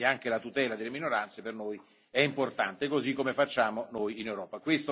Quindi anche la tutela delle minoranze per noi è importante, così come facciamo noi in Europa.